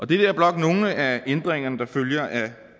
det er blot nogle af ændringerne der følger af